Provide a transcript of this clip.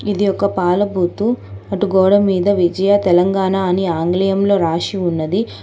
ఇది ఒక పాల బూతు అటు గోడ మీద విజయ తెలంగాణ అని ఆంగ్లేయంలో రాషి ఉన్నది.